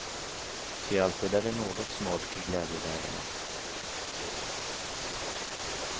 Ty alltid är det något smolk i glädjebägarna.